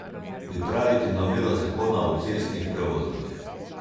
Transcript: Pripraviti novelo zakona o cestnih prevozih.